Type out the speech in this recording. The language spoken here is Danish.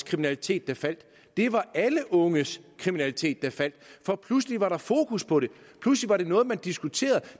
kriminalitet der faldt det var alle unges kriminalitet der faldt for pludselig var der fokus på det pludselig var det noget man diskuterede